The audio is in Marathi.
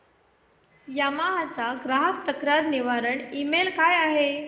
यामाहा चा ग्राहक तक्रार निवारण ईमेल काय आहे